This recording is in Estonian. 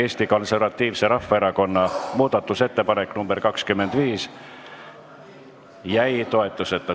Eesti Konservatiivse Rahvaerakonna muudatusettepanek nr 25 jäi toetuseta.